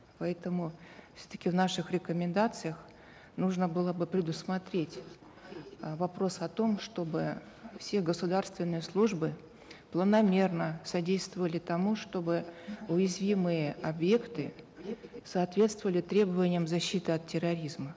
поэтому все таки в наших рекомендациях нужно было бы предусмотреть э вопрос о том чтобы все государственные службы планомерно содействовали тому чтобы уязвимые объекты соответствовали требованиям защиты от терроризма